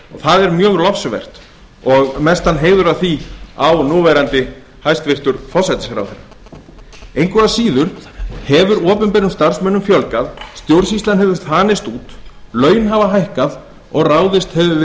er mjög lofsvert og mestan heiður af því á núverandi hæstvirtan forsætisráðherra engu að síður hefur opinberum starfsmönnum fjölgað stjórnsýslan hefur þanist út laun hafa hækkað og ráðist hefur verið